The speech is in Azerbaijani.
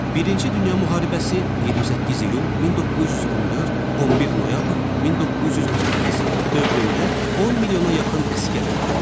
Birinci Dünya müharibəsi 28 iyul 1914, 11 noyabr 1918 dövründə 10 milyona yaxın əsgər öldü.